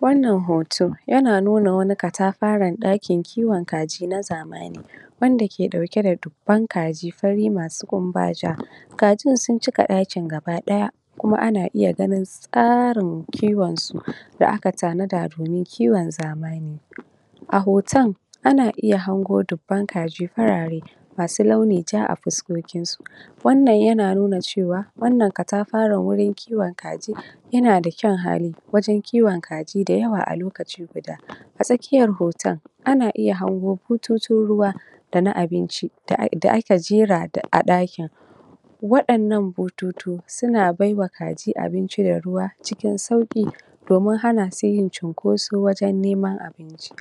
Wannan hoto, yana nuna wani katafaren ɗakin kiwon kaji na zamaːni, wanda ke ɗauke da dubban kaji fari masu ƙumba jaː, kajin sun cika ɗakin gaba ɗaya, kuma ana iya ganin tsaːrin kiwon su, da aka tanada domin kiwon zamaːni. A hotan, ana iya hango dubban kaji farare, masu launi jaː a fuskokin su. Wannan yana nuna cewa, wannan katafaren wurin kiwon kaji yana da kyaun hali, wajan kiwon kaji da yawa a lokaci guda. A tsakkiyar hoton, ana iya hango bututun ruwa, da na abinci da aka jera a ɗakin. Waɗan nan bututu, suna baiwa kaji abinci da ruwa cikin sauƙi, domin hana su yin cinkoso wajan neman abinci.